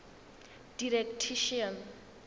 didactician